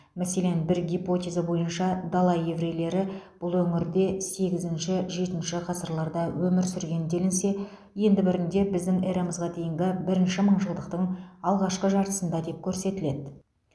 мәселен бір гипотеза бойынша дала еврейлері бұл өңірде сегізінші жетінші ғасырларда өмір сүрген делінсе енді бірінде біздің эрамызға дейінгі бірінші мыңжылдықтың алғашқы жартысында деп көрсетіледі